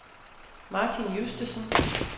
Martin Justesen